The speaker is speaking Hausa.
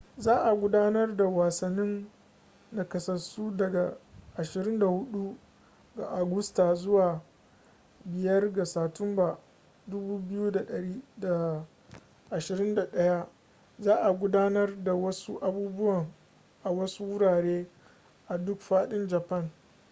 za a gudanar da wasannin nakasassu daga 24 ga agusta zuwa 5 ga satumba 2021 za a gudanar da wasu abubuwan a wasu wurare a duk fadin japan